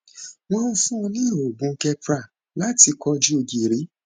wọn ń fún un ní oògùn keppra láti kojú gìrì